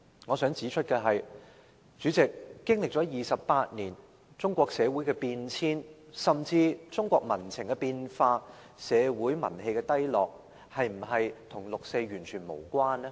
我想指出的是，主席，經歷了28年，中國社會的變遷，甚至中國民情的變化和社會民氣的低落，是否跟六四完全無關呢？